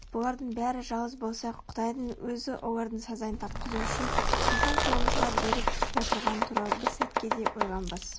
бұлардың бәрі жауыз болса құдайдың өзі олардың сазайын тартқызу үшін біздің қолымызға беріп отырғаны туралы бір сәтке де ойланбас